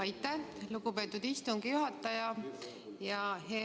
Aitäh, lugupeetud istungi juhataja!